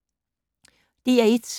DR1